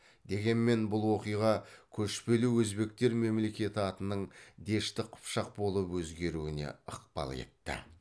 дегенмен бұл оқиға көшпелі өзбектер мемлекеті атының дешті қыпшақ болып өзгеруіне ықпал етті